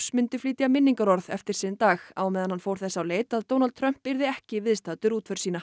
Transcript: myndu flytja minningarorð eftir sinn dag á meðan hann fór þess á leit að Donald Trump yrði ekki viðstaddur útför sína